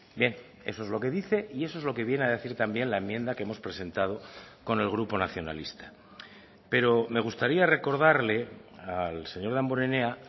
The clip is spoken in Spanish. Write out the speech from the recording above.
bien eso es lo que dice y eso es lo que viene a decir también la enmienda que hemos presentado con el grupo nacionalista pero me gustaría recordarle al señor damborenea